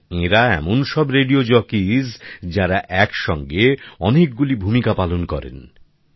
আর এঁরা এমন সব রেডিও জকিস যারা এক সঙ্গে অনেকগুলি ভূমিকা পালন করেন